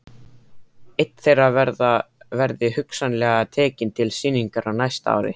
Einn þeirra verði hugsanlega tekinn til sýningar á næsta ári.